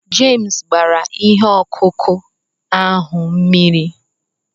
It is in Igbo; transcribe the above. Jemes gbara ihe ọkụkụ ahụ mmiri